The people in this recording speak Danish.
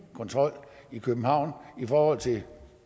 kontrol i københavn i forhold til